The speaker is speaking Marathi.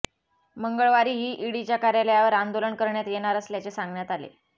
मंगळवारीही ईडीच्या कार्यालयावर आंदोलन करण्यात येणार असल्याचे सांगण्यात आले